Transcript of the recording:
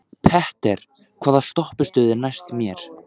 Petter, hvaða stoppistöð er næst mér?